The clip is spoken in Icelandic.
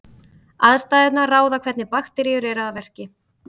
Aðstæðurnar ráða hvernig bakteríur eru að verki.